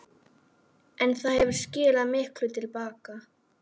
En það hefur skilað miklu til baka.